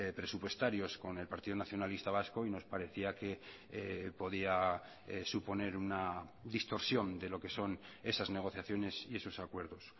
presupuestarios con el partido nacionalista vasco y nos parecía que podía suponer una distorsión de lo que son esas negociaciones y esos acuerdos